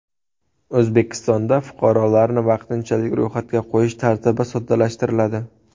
O‘zbekistonda fuqarolarni vaqtinchalik ro‘yxatga qo‘yish tartibi soddalashtiriladi.